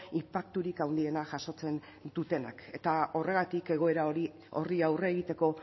inpakturik handiena jasotzen dutenak eta horregatik egoera horri aurre egiteko